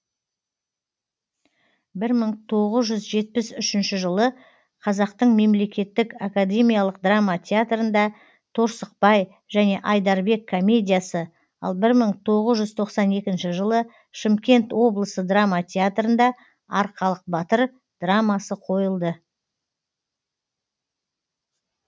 бір мың тоғыз жүз жетпіс үшінші жылы қазақтың мемлекеттік академиялық драма театрында торсықбай және айдарбек комедиясы ал бір мың тоғыз жүз тоқсан екінші жылы шымкент облысы драма театрында арқалық батыр драмасы қойылды